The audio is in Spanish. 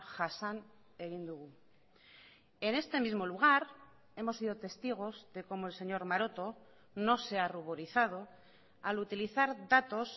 jasan egin dugu en este mismo lugar hemos sido testigos de cómo el señor maroto no se ha ruborizado al utilizar datos